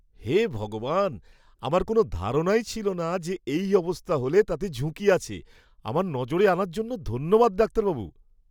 হে ভগবান! আমার কোনও ধারণাই ছিল না যে এই অবস্থা হলে তাতে ঝুঁকি আছে। আমার নজরে আনার জন্য ধন্যবাদ ডাক্তারবাবু।